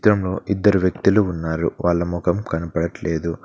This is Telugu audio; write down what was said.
చిత్రంలో ఇద్దరు వ్యక్తులు ఉన్నారు వాళ్ళ ముఖం కనబడట్లేదు.